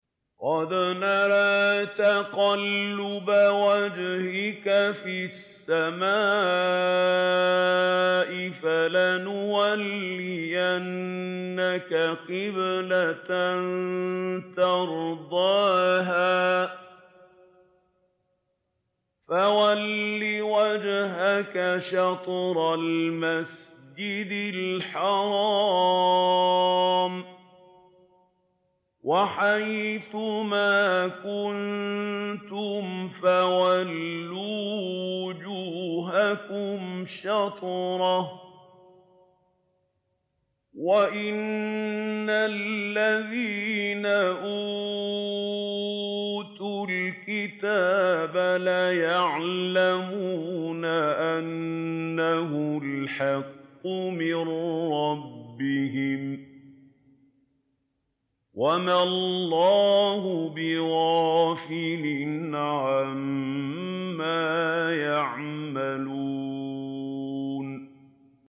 قَدْ نَرَىٰ تَقَلُّبَ وَجْهِكَ فِي السَّمَاءِ ۖ فَلَنُوَلِّيَنَّكَ قِبْلَةً تَرْضَاهَا ۚ فَوَلِّ وَجْهَكَ شَطْرَ الْمَسْجِدِ الْحَرَامِ ۚ وَحَيْثُ مَا كُنتُمْ فَوَلُّوا وُجُوهَكُمْ شَطْرَهُ ۗ وَإِنَّ الَّذِينَ أُوتُوا الْكِتَابَ لَيَعْلَمُونَ أَنَّهُ الْحَقُّ مِن رَّبِّهِمْ ۗ وَمَا اللَّهُ بِغَافِلٍ عَمَّا يَعْمَلُونَ